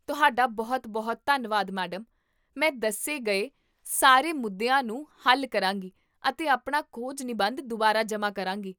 ਤੁਹਾਡਾ ਬਹੁਤ ਬਹੁਤ ਧੰਨਵਾਦ, ਮੈਡਮ, ਮੈਂ ਦੱਸੇ ਗਏ ਸਾਰੇ ਮੁੱਦਿਆਂ ਨੂੰ ਹੱਲ ਕਰਾਂਗੀ ਅਤੇ ਆਪਣਾ ਖੋਜ ਨਿਬੰਧ ਦੁਬਾਰਾ ਜਮ੍ਹਾਂ ਕਰਾਂਗੀ